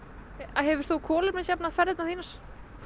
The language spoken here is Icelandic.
hefur þú kolefnisjafnað ferðirnar þínar